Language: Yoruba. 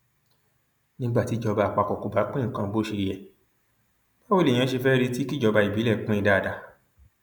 nígbà tíjọba àpapọ kò bá pín nǹkan bó ṣe yẹ báwo lèèyàn ṣe fẹẹ retí kíjọba ìbílẹ pín in dáadáa